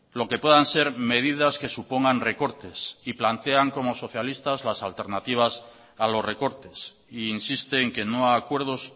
lo que puedan ser medidas que supongan recortes y plantean como socialistas las alternativas a los recortes e insiste en que no a acuerdos